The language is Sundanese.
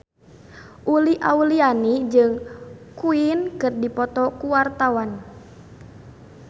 Uli Auliani jeung Queen keur dipoto ku wartawan